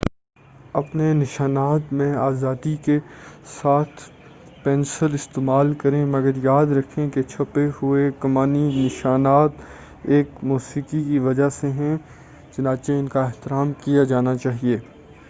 اپنے نشانات میں آزادی کے ساتھ پینسل استعمال کریں مگر یاد رکھیں کہ چھپے ہوئے کمانی نشانات ایک موسیقی کی وجہ سے ہیں چنانچہ ان کا احترام کیا جانا چاہیے